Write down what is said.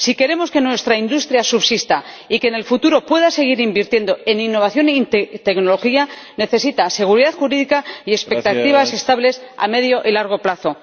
Si queremos que nuestra industria subsista y que en el futuro pueda seguir invirtiendo en innovación y tecnología, necesita seguridad jurídica y expectativas estables a medio y largo plazo.